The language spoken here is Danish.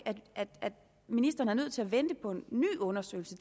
at ministeren er nødt til at vente på en ny undersøgelse